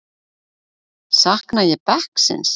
Sakna ég bekksins?